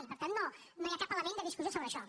i per tant no hi ha cap element de discussió sobre això